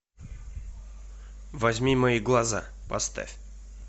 возьми мои глаза поставь